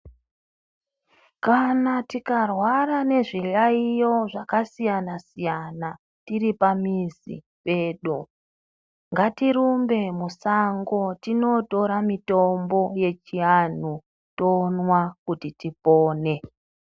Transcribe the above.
Kana tikarwara nezviyaiyo zvakasiyana siyana tiri pamizi pedu ngatirumbe musango tinotora mitombo yechiantu tomwa kuti tipone.